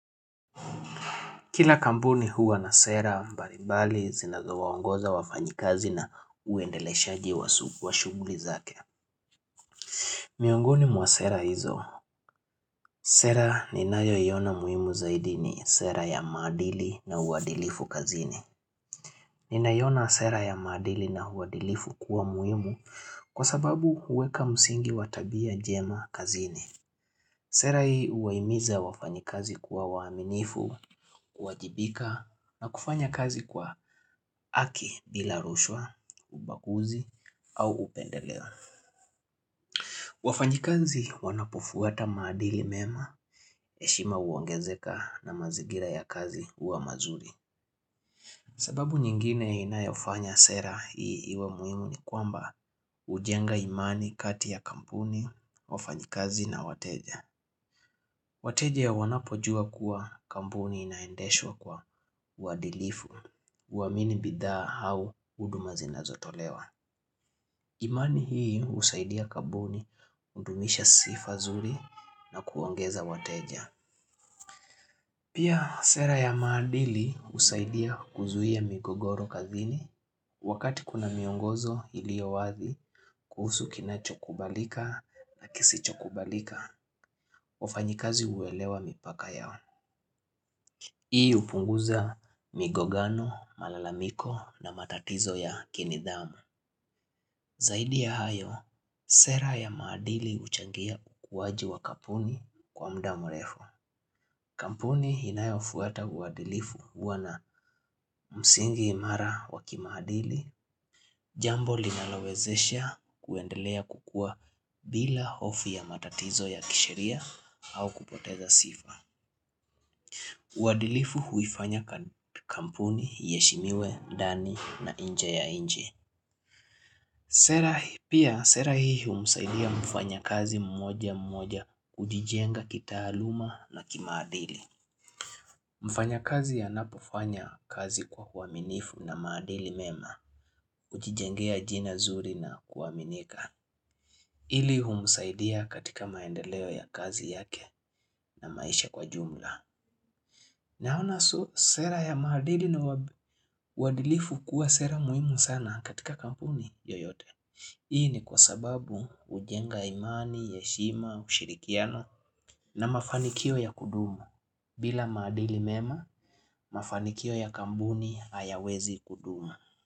Kila kambuni huwa na sera, mbarimbali zinazowaongoza wafanyikazi na uendeleshaji wa shuguli zake. Miongoni mwa sera hizo. Sera ninayoiona muhimu zaidi ni sera ya maadili na uadilifu kazini. Ninaiona sera ya maadili na uadilifu kuwa muhimu kwa sababu huweka msingi wa tabia jema kazini. Sera hii uwaimiza wafanyikazi kuwa waaminifu, kuwajibika na kufanya kazi kwa aki bila rushwa, ubaguzi au upendelewa. Wafanyikazi wanapofuata maadili mema, heshima uongezeka na mazigira ya kazi uwa mazuri. Sababu nyingine inayofanya sera hii iwe muhimu ni kwamba ujenga imani kati ya kampuni, wafanyikazi na wateja. Wateja wanapojua kuwa kambuni inaendeshwa kwa uwadilifu, uaaminibidhaa hau huduma zinazotolewa. Imani hii usaidia kambuni kundumisha sifa zuri na kuongeza wateja. Pia sera ya maadili husaidia kuzuhia migogoro kazini wakati kuna miongozo ilio wazi kuhusu kinachokubalika na kisichokubalika. Wafanyikazi uelewa mipaka yao. Hii upunguza migogano, malalamiko na matatizo ya kinidhamu. Zaidi ya hayo, sera ya maadili uchangia kukuwaji wa kapuni kwa mda murefu. Kampuni inayofuata uwadilifu huwa na msingi imara wa kimaadili. Jambo linalowezesha kuendelea kukua bila hofu ya matatizo ya kisheria au kupoteza sifa. Uadilifu huifanya kampuni, iheshimiwe, ndani na inje ya inchi sera hii humsaidia mfanyakazi mmoja mmoja kujijenga kitaaluma na kimaadili mfanyakazi anapofanya kazi kwa uaminifu na maadili mema Ujijengea jina zuri na kuaminika. Ili humusaidia katika maendeleo ya kazi yake na maisha kwa jumla Naona sera ya maadili na uadilifu kuwa sera muhimu sana katika kampuni yoyote. Hii ni kwa sababu ujenga imani, yeshima, ushirikiano na mafanikio ya kuduma. Bila maadili mema, mafanikio ya kampuni hayawezi kuduma.